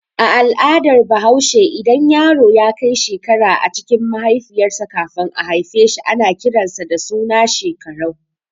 A al'adar bahaushe idan yaro yakai shekara a cikin mahaifiyar sa kafin a haifeshi ana kiran sa da suna Shekarau.